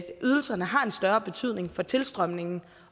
ydelserne har en større betydning for tilstrømningen